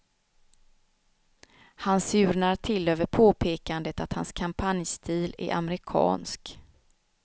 Han surnar till över påpekandet att hans kampanjstil är amerikansk.